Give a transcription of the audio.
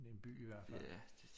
Det er en by i hvert fald